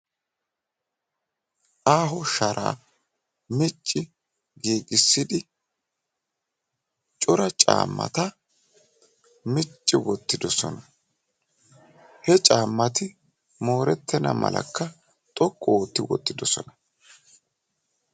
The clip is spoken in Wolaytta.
aaho sharani miccidi giigissidi micci giigisidi wottidossona he caamatti morettena malaka xoqqu ootidi wotidossona.